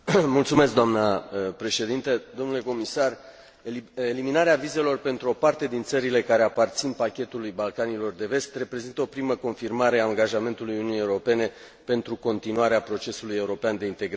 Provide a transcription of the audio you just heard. Dnă președintă, dle comisar, eliminarea vizelor pentru o parte din țările care aparțin pachetului Balcanilor de Vest reprezintă o primă confirmare a angajamentului Uniunii Europene pentru continuarea procesului european de integrare.